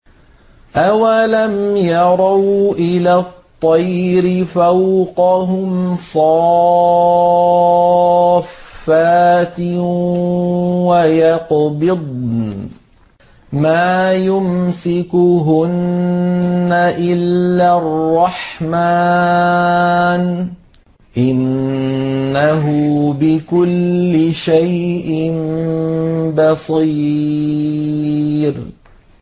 أَوَلَمْ يَرَوْا إِلَى الطَّيْرِ فَوْقَهُمْ صَافَّاتٍ وَيَقْبِضْنَ ۚ مَا يُمْسِكُهُنَّ إِلَّا الرَّحْمَٰنُ ۚ إِنَّهُ بِكُلِّ شَيْءٍ بَصِيرٌ